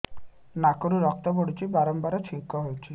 ନାକରୁ ରକ୍ତ ପଡୁଛି ବାରମ୍ବାର ଛିଙ୍କ ହଉଚି